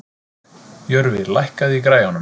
Jörfi, lækkaðu í græjunum.